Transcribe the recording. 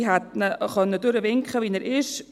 Ich hätte ihn durchwinken können, wie er ist.